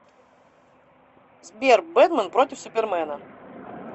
сбер бэтмэн против супермена